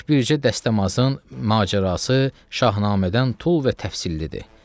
Tək bircə dəstəmazın macərası Şahnamədən tul və təfsillidir.